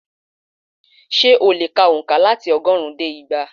Ṣé o lè ka ònkà láti ọgọ́rùn-ún dé igba